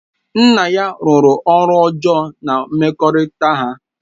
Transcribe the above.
Nna ya rụrụ ọrụ ọjọọ na mmekọrịta ha